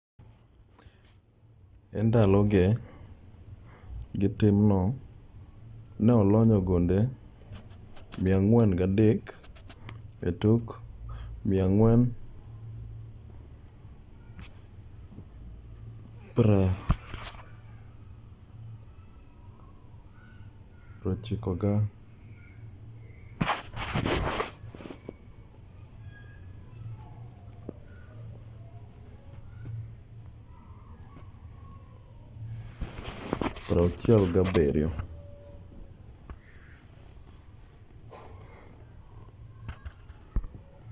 endaloge gi timno ne oloyo gonde 403 e tuke 468